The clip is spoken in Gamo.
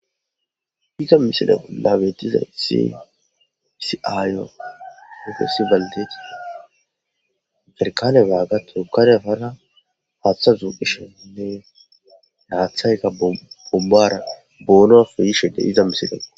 Iza misile bolla betizayisi Issi maccashi daara haaththe bombbape duuqashe dizayisine hathayi bonora yishe dizayisa .